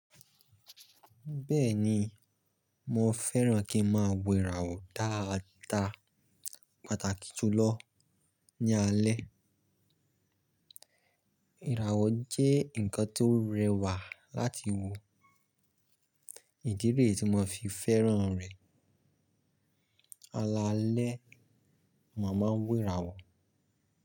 Bẹ́ẹ̀ni, mo fẹ́ràn kí n máa wo ìràwọ̀ dáadáa pàtàkì jùlọ ní alẹ́. Ìràwọ̀ jẹ́ nǹkan tó rẹwà láti wo, ìdí rè tí mo fi fẹ́ràn rẹ̀. Lálẹ́, mò máa ń wo ìràwọ̀.